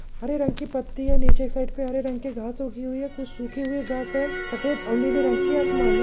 हरे रंग की पत्ती है नीचे के साइड पे हरे रंग की घास उगी हुई है कुछ सूखी हुई घास है सफेद और नीले रंग की आसमानी --